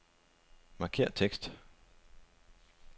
Markér tekst.